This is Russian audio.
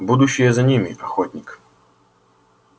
будущее за ними охотник